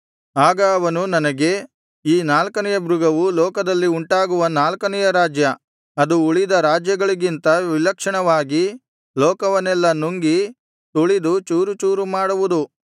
ಆಗ ಅವನು ನನಗೆ ಆ ನಾಲ್ಕನೆಯ ಮೃಗವು ಲೋಕದಲ್ಲಿ ಉಂಟಾಗುವ ನಾಲ್ಕನೆಯ ರಾಜ್ಯ ಅದು ಉಳಿದ ರಾಜ್ಯಗಳಿಗಿಂತ ವಿಲಕ್ಷಣವಾಗಿ ಲೋಕವನ್ನೆಲ್ಲಾ ನುಂಗಿ ತುಳಿದು ಚೂರುಚೂರು ಮಾಡುವುದು